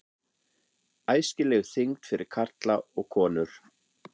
ÆSKILEG ÞYNGD FYRIR KARLA OG KONUR